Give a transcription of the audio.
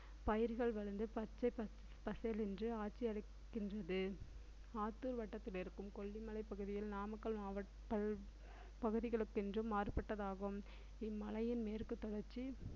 பயிர்கள் விளைந்து பச்சை பசேலென்று ஆட்சியமைக்கின்றது ஆத்தூர் வட்டத்தில் இருக்கும் கொல்லிமலை பகுதியில் நாமக்கல் மாவட்டத்தில் பகுதிகளுக்கென்று மாறுபட்டதாகும் இம்மலையின் மேற்கு தொடர்ச்சி